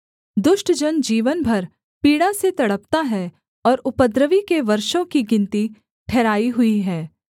दुष्ट जन जीवन भर पीड़ा से तड़पता है और उपद्रवी के वर्षों की गिनती ठहराई हुई है